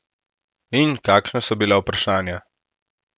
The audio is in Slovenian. In kakšna so bila vprašanja?